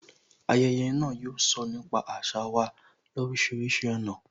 Ayẹyẹ náà, yóò sọ nípa àṣà wa lorisirisi ọ̀nà